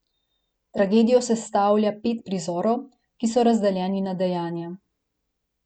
Tragedijo sestavlja pet prizorov, ki so razdeljeni na dejanja.